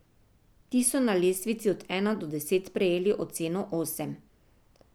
Ti so na lestvici od ena do deset prejeli oceno osem.